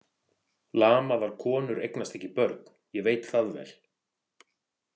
Lamaðar konur eignast ekki börn, ég veit það vel.